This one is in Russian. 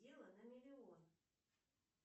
дело на миллион